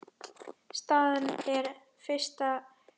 Staðan eftir fyrsta hring